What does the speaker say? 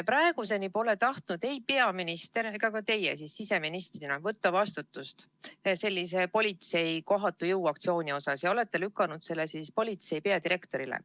Praeguseni pole tahtnud ei peaminister ega ka teie siseministrina võtta vastutust politsei kohatu jõuaktsiooni eest, te olete lükanud selle politsei peadirektorile.